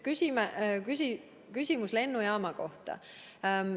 Küsimus lennujaama kohta.